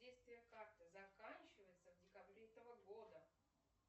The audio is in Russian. действие карты заканчивается в декабре этого года